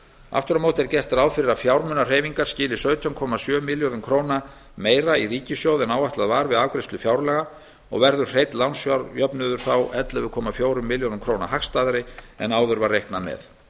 aftur á móti er gert ráð fyrir að fjármunahreyfinga skili sautján komma sjö milljörðum króna meira í ríkissjóð en áætlað var við afgreiðslu fjárlaga og verður hreinn lánsfjárjöfnuður þá ellefu komma fjórum milljörðum króna hagstæðari en áður var reiknað með